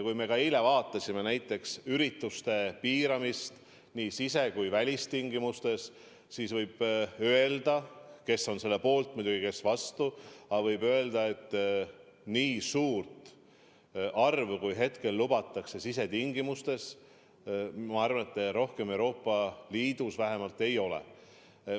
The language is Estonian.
Eile me arutasime näiteks ürituste piiramist nii sise- kui välistingimustes – kes on selle poolt, kes vastu –, aga võib öelda, et nii suurt arvu, kui meil hetkel lubatakse sisetingimustes, ma arvan, Euroopa Liidus vähemalt ei ole.